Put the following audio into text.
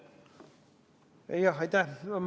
Jah, aitäh!